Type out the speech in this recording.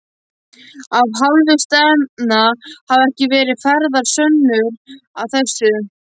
Af hálfu stefnda hafa ekki verið færðar sönnur að þessu.